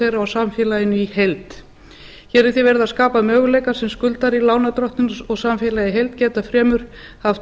þeirra og samfélaginu í heild hér er því verið að skapa möguleika sem skuldari lánardrottinn og samfélagið í heild geta fremur haft